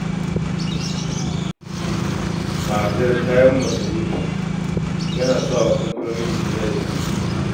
Tsadar kayan masarufi takan sa kamfanoni su yi yajin aiki